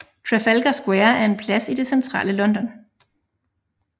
Trafalgar Square er en plads i det centrale London